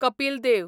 Kapil Dev